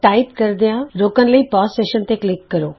type ਕਰਦਿਆਂ session ਰੋਕਣ ਲਈ ਪੌਜ਼ ਸੈਸ਼ਨ ਬਟਨ ਤੇ ਕਲਿਕ ਕਰੋ